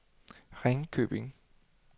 Ringkøbing